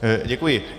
Děkuji.